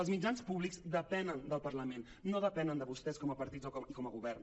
els mitjans públics depenen del parlament no depenen de vostès com a partits i com a govern